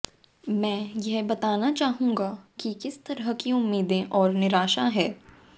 मैं यह बताना चाहूंगा कि किस तरह की उम्मीदें और निराशा है